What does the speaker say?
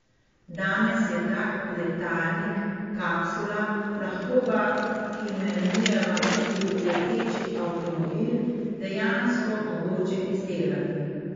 Danes je tak letalnik, kapsula, lahko ga imenujeva tudi leteči avtomobil, dejansko mogoče izdelati.